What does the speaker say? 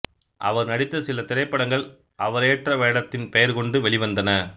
அவர் நடித்த சில திரைப்படங்கள் அவரேற்ற வேடத்தின் பெயர் கொண்டு வெளிவந்தன